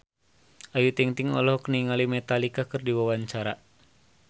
Ayu Ting-ting olohok ningali Metallica keur diwawancara